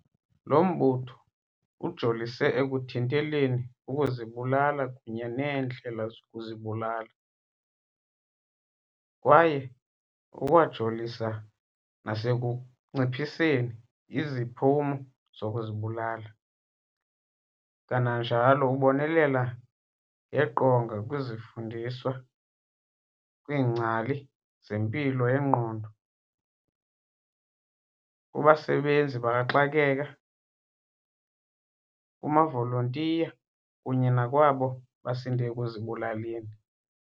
Lo mbutho ujolise ekuthinteleni ukuzibulala kunye neendlela zokuzibulala, kwaye ukwajolisa nasekunciphiseni iziphumo zokuzibulala, kananjalo ubonelela ngeqonga kwizifundiswa, kwiingcali zempilo yengqondo, kubasebenzi bakaxakeka, kumavolontiya kunye nakwabo basinde ekuzibulaleni.